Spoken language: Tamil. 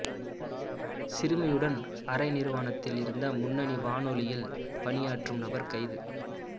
சிறுமியுடன் அரை நிர்வாணத்தில் இருந்த முன்னணி வானொலியில் பணியாற்றும் நபர் கைது